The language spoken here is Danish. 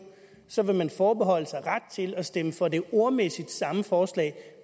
så vil man forbeholde sig ret til at stemme for det ordmæssigt samme forslag